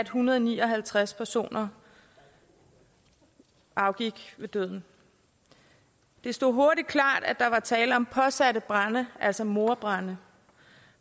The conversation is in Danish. hundrede og ni og halvtreds personer afgik ved døden det stod hurtigt klart at der var tale om påsatte brande altså mordbrande